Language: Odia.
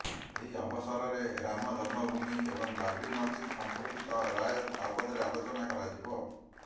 ଏହି ଅବସରରେ ରାମ ଜନ୍ମଭୂମି ଏବଂ ବାବ୍ରି ମସଜିଦ୍ ସମ୍ପର୍କିତ ରାୟ ବାବଦରେ ଆଲୋଚନା କରାଯିବ